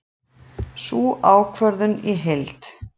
Sjá ákvörðunina í heild